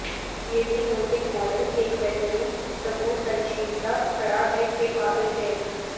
یہ بھی نوٹنگ ماڈل ایک بہترین تبورتنشیلتا کھڑا ہے کے قابل ہے